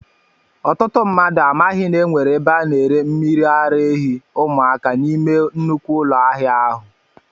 Ọtụtụ mmadụ amaghị na enwere ebe a na-ere mmiri ara ehi ụmụaka n'ime nnukwu ụlọ ahịa ahụ